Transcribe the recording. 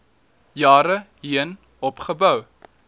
jare heen opgebou